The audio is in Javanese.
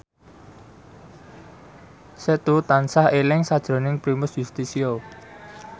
Setu tansah eling sakjroning Primus Yustisio